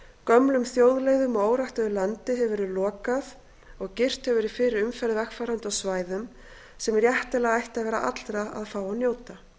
gömlum þjóðleiðum og óræktuðu landi hefur verið lokað og girt hefur verið fyrir umferð vegfarenda á svæðum sem réttilega ætti að vera allra að fá að njóta